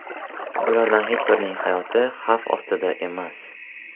Ulardan hech birining hayoti xavf ostida emas.